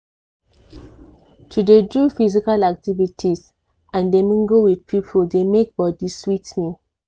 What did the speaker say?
to dey do physical activities and dey mingle with people dey make body sweet me.